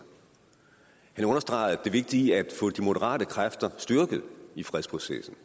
han understregede det vigtige i at få de moderate kræfter styrket i fredsprocessen